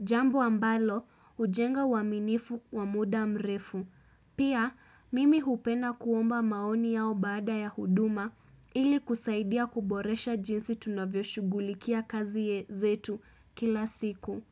Jambo ambalo hujenga uaminifu wa muda mrefu. Pia, mimi hupenda kuomba maoni yao baada ya huduma ili kusaidia kuboresha jinsi tunavyoshugulikia kazi ye zetu kila siku.